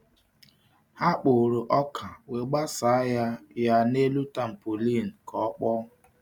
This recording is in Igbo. Ha kpọrọ ọka wee gbasaa ya ya n’elu tampolin ka ọ kpọọ.